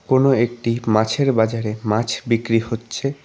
কোন একটি মাছের বাজারে মাছ বিক্রি হচ্ছে।